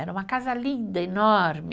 Era uma casa linda, enorme.